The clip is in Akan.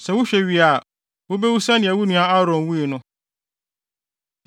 Sɛ wohwɛ wie a, wubewu sɛnea wo nua Aaron wui no,